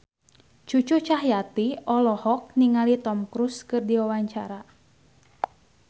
Cucu Cahyati olohok ningali Tom Cruise keur diwawancara